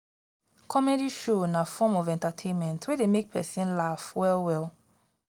comedy show na form of entertainment wey de make persin laugh well well